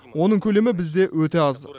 оның көлемі бізде өте аз